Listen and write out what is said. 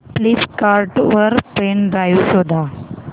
Flipkart वर pen drive शोधा